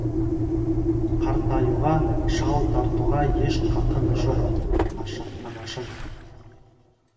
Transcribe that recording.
қартаюға шау тартуға еш қақың жоқ анашым